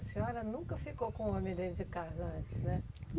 A senhora nunca ficou com um homem dentro de casa antes, né?